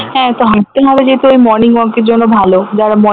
হ্যাঁ তো হাঁটতে হবে যেহেতু ওই morning walk এর জন্য ভালো যারা morning